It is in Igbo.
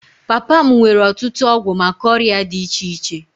Papa m nwere ọtụtụ ọgwụ maka ọrịa dị iche iche